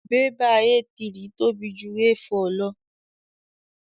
Bẹ́bà A3 tóbi ju A4 lọ.